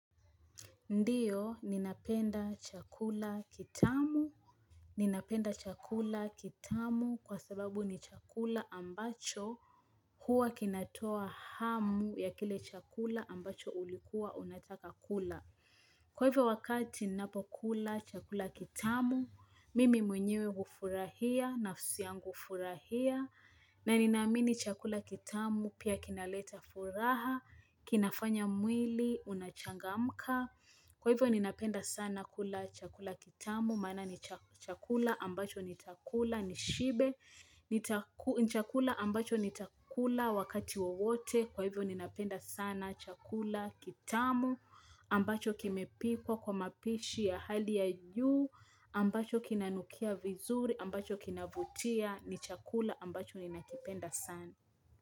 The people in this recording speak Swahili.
Ndiyo, ninapenda chakula kitamu Ninapenda chakula kitamu kwa sababu ni chakula ambacho huwa kinatoa hamu ya kile chakula ambacho ulikuwa unataka kula Kwa hivyo wakati napokula chakula kitamu, mimi mwenyewe hufurahia, nafsi yangu hufurahia na ninamini chakula kitamu pia kinaleta furaha, kinafanya mwili, unachangamka Kwa hivyo ni napenda sana kula chakula kitamu, maana ni cha chakula ambacho nitakula nishibe, ni chakula ambacho nita kula wakati wowote, kwa hivyo ni napenda sana chakula kitamu, ambacho kimepikwa kwa mapishi ya hali ya juu, ambacho kinanukia vizuri, ambacho kinavutia, ni chakula ambacho ni nakipenda sana.